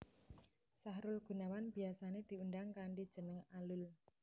Sahrul Gunawan biyasané diundang kanthi jeneng Alul